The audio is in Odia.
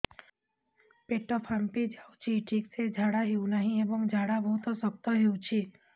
ପେଟ ଫାମ୍ପି ଯାଉଛି ଠିକ ସେ ଝାଡା ହେଉନାହିଁ ଏବଂ ଝାଡା ବହୁତ ଶକ୍ତ ହେଉଛି